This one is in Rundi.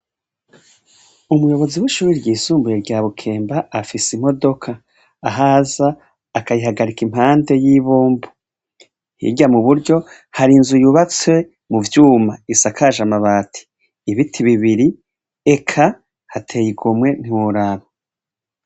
Umuyobozi w'ishure ryisumbuye rya Bukemba afise imodoka ahaza akayihagarika impande y'ibombo . Hirya mu buryo, hari inzu yubatse mu vyuma isakaje amabati, ibiti bibiri eka hateye igomwe ntiworaba.